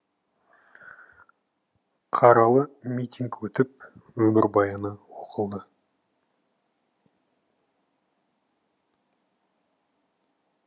қаралы митинг өтіп өмірбаяны оқылды